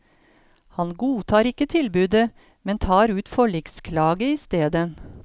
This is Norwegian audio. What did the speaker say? Han godtar ikke tilbudet, men tar ut forliksklage isteden.